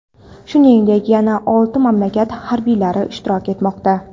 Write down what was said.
shuningdek yana olti mamlakat harbiylari ishtirok etmoqda.